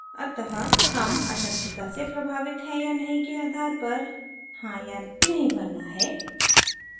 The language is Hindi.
अतः हम अशक्तता से प्रभावित हैं या नहीं के आधार पर हाँ या न भरना है